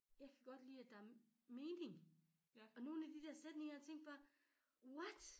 Jeg kan godt lide at er mening og nogen af de sætninger jeg tænkte bare what?